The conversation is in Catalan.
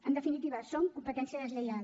en definitiva són competència deslleial